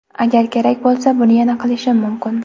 Agar kerak bo‘lsa, buni yana qilishim mumkin.